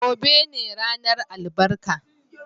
Gobe ​​ne ranar albarka.